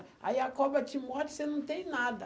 Aí a cobra te morde e você não tem nada.